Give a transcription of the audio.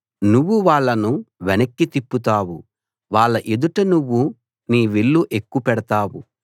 నువ్వు వాళ్ళను వెనక్కి తిప్పుతావు వాళ్ళ ఎదుట నువ్వు నీ విల్లు ఎక్కుపెడతావు